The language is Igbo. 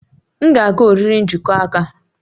M ga-aga oriri njikọ aka